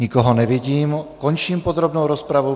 Nikoho nevidím, končím podrobnou rozpravu.